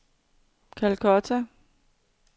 Calcutta